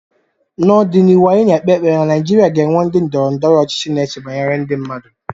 N'ọdịnihu, anyị na-ekpe ekpere na Nigeria ga-enwe ndị ndọrọ ndọrọ ọchịchị na-eche banyere ndị mmadụ